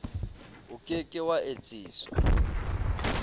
o ke ke wa etsiswa